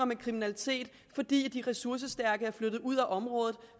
med kriminalitet fordi de ressourcestærke er flyttet ud af området